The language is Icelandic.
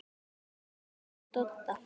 Inn til Dodda.